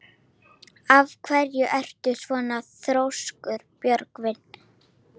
Af hverju ertu svona þrjóskur, Björgvin?